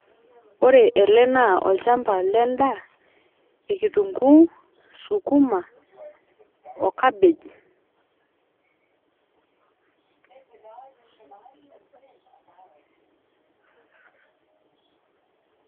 Ore ele naa olchamba lendaa, kitunguu ,sukuma ,o cabbage.